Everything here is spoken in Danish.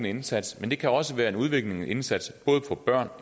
indsats men det kan også være en udviklingsindsats for børn